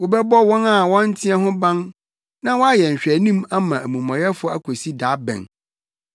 “Wobɛbɔ wɔn a wɔnteɛ ho ban na woayɛ nhwɛanim ama amumɔyɛfo akosi da bɛn?